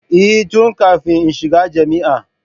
Eh, tun kafin in shiga jami'a